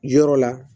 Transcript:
Yɔrɔ la